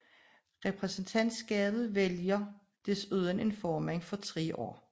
Repræsentantskabet vælger desuden en formand for 3 år